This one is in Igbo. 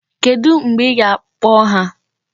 Kedụ mgbe ị ga-akpọ ha?